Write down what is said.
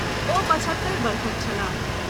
ओ पचहत्तरि वर्षक छलाह।